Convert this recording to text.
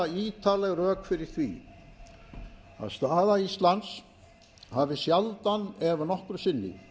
færa ítarleg rök fyrir því að staða íslands hafi sjaldan ef nokkru sinni